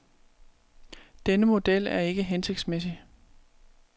Denne model er ikke hensigtsmæssig.